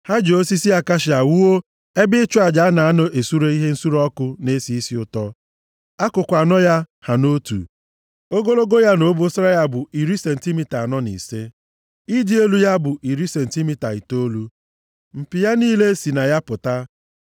Ha ji osisi akashia wuo ebe ịchụ aja a na-anọ esure ihe nsure ọkụ na-esi isi ụtọ. Akụkụ anọ ya ha nʼotu. Ogologo ya na obosara ya bụ iri sentimita anọ na ise. Ịdị elu ya bụ iri sentimita itoolu. Mpi ya niile si na ya pụta.